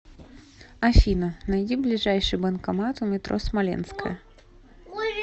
афина найди ближайший банкомат у метро смоленская